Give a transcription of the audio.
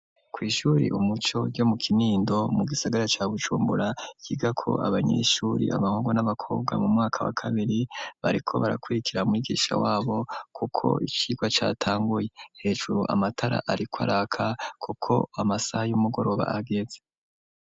Kw'ishuri umuco ryo mu kinindo mu gisagara ca bucumbura kiga ko abanyeshuri abahungo n'abakobwa mu mwaka wa kabiri bariko barakwirikira mwigisha wabo, kuko icirwa catanguye hejuru amatara, ariko araka, kuko amasaha y'umugoroba ageze.